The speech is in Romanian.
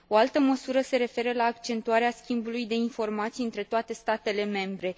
O altă măsură se referă la accentuarea schimbului de informații între toate statele membre.